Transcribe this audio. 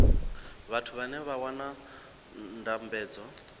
vhathu vhane vha wana ndambedzo